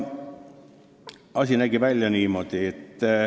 Asi nägi välja niimoodi.